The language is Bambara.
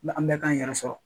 La an bɛɛ k'an yɛrɛ sɔrɔ.